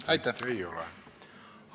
Aitäh, Mart Nutt!